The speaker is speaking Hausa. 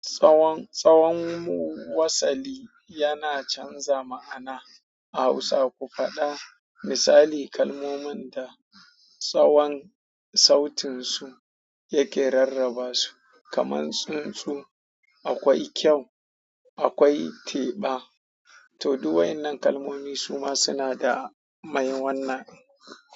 Tsawon tsawon wasali yana canza ma'ana a Hausa. Ku faɗa misali kalmomin da tsawon sautin su yake rarraba su kamar tsuntsu, akwai kyau, akwai teɓa. Toh duk wa'yannan kalmomi suma suna da mai wannan.